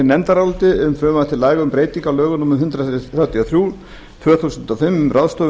laga um breytingu á lögum númer þrettán hundruð þrjátíu og fjögur tvö þúsund og fimm um ráðstöfun